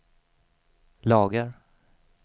lagar